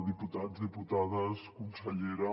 diputats diputades consellera